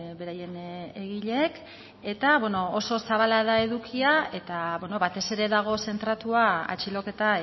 beraien egileek eta bueno oso zabala da edukia eta batez ere dago zentratua atxiloketa